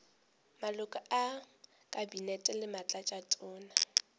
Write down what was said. maloko a kabinete le batlatšatona